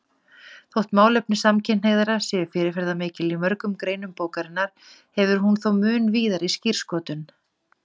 Þótt málefni samkynhneigðra séu fyrirferðarmikil í mörgum greinum bókarinnar hefur hún þó mun víðari skírskotun.